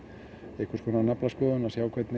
einhvers konar naflaskoðun að